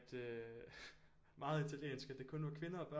Øh meget italiensk at det kun var kvinder og børn